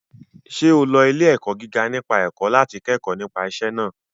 Ṣé o lọ ilé-ẹ̀kọ́ gíga nípa ẹ̀kọ́ láti kẹ́kọ̀ọ́ nípa iṣẹ́ náà?